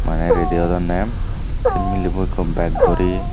maney redi odone say milebo bow ekko beg dori.